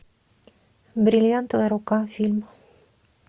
бриллиантовая рука фильм